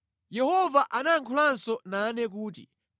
Yehova anayankhulanso nane kuti,